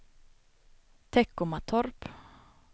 Teckomatorp